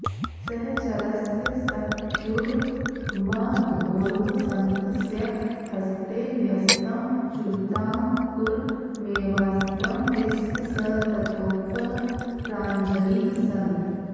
सहचरस्य सख्युर्मधोर्वसन्तस्य हस्ते न्यस्तं चूताङ्कुरमेवास्त्रं यस्य स तथोक्तः प्राञ्जलिः सन्